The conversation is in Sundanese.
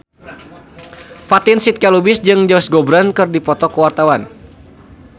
Fatin Shidqia Lubis jeung Josh Groban keur dipoto ku wartawan